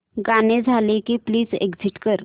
गाणं झालं की प्लीज एग्झिट कर